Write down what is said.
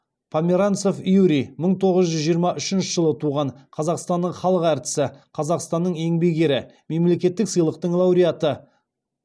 померанцев юрий мың тоғыз жүз жиырма үшінші жылы туған қазақстанның халық әртісі қазақстанның еңбек ері мемлекеттік сыйлықтың лауреаты